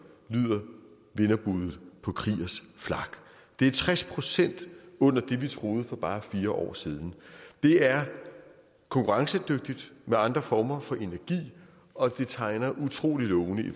lyder vinderbuddet på kriegers flak det er tres procent under det vi troede for bare fire år siden det er konkurrencedygtigt med andre former for energi og det tegner utrolig lovende i